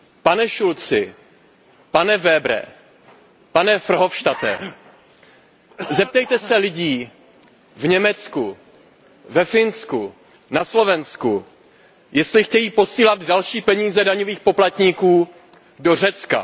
Pane Schulzi, pane Webere, pane Verhofstadte, zeptejte se lidí v Německu, ve Finsku, na Slovensku, jestli chtějí posílat další peníze daňových poplatníků do Řecka.